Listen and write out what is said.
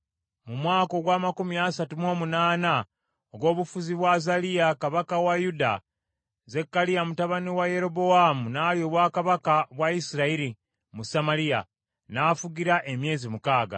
Mu mwaka ogw’amakumi asatu mu omunaana ogw’obufuzi bwa Azaliya kabaka wa Yuda, Zekkaliya mutabani wa Yerobowaamu n’alya obwakabaka bwa Isirayiri mu Samaliya, n’afugira emyezi mukaaga.